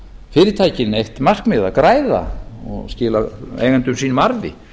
fyrirtækin eitt markmið að græða og skila eigendum sínum arði